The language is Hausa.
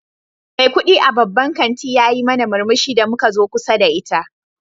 Mai kudi a babban kanti yayi mana murmushi da muka zo kusa da ita.